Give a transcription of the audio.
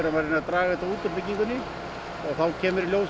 að reyna draga þetta út úr byggingu og þá kemur í ljós